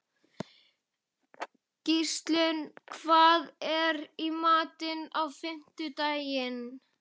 Gíslunn, hvað er í matinn á fimmtudaginn?